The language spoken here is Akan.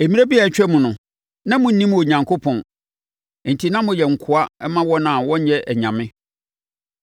Mmerɛ bi a atwam no, na monnim Onyankopɔn, enti na moyɛ nkoa ma wɔn a wɔnyɛ anyame.